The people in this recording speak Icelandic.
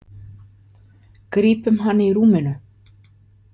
Grípum hann í rúminu.